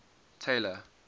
taylor